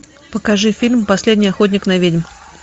покажи фильм последний охотник на ведьм